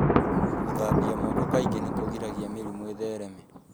Gũthambia moko kaingĩ nĩ kũgiragia mĩrimũ ĩthereme.